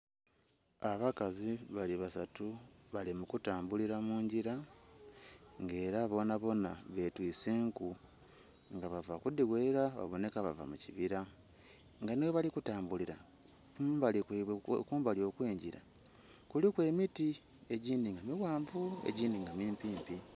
Abakazi bali basatu bali mukutambulira mungira nga era bonha bonha betise enku nga bava kudhigherera babonheka bava mukibira nga nhi ghebali kutambulira kumbali kwaibwe kumbali okwengira kuliku emiti egindhi nga mighanvu egindhi nga mimpi mpi.